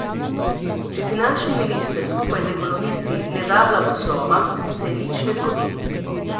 Če finančni minister skupaj z ekonomisti ne da blagoslova, se nič ne zgodi.